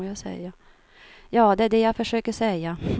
Ja, det är det jag försöker säga.